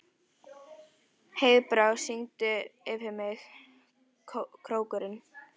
Heiðbrá, syngdu fyrir mig „Krókurinn“.